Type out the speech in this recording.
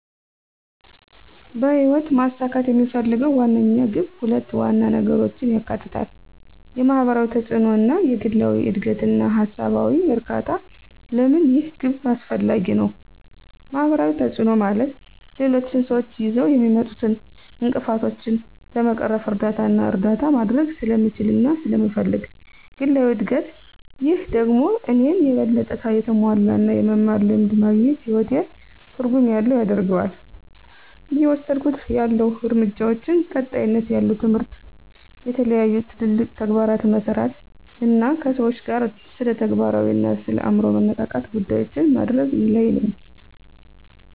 በህይወት ማሳካት የምፈልገው ዋነኛው ግብ ሁለት ዋና ነገሮችን ያካትታል፦ የማህበራዊ ተጽእኖ እና የግላዊ እድገትና ሃሳባዊ እርካታ? ለምን ይህ ግብ አስፈላጊ ነው? ማህበራዊ ተጽእኖ፦ ማለት ሌሎች ስዎች ይዘው የሚመጡትን እንቅፍቶችን ለመቅረፍ እርዳታና እርዳታ ማድርግ ስለምችልና ስለመፈልግ። ግላዊ እድግት፦ ይህ ደግሞ እኔን የበለጠ የተሞላ እና የመማር ልምድ ማግኝት ህይወቴን ትርጉም ያለው ያደርገዋል። እየወስድኩት ያለሁ እርምጃዎች፦ ቀጣይነት ያለው ትምህርት፣ የተለያዩ ትልልቅ ተግባራትን መሠራት አና ከሰዎች ጋር ስለተግባራዊ አና የአምሮ መነቃቃት ጉዳዮችን ማድርግ ለይ ነኝ።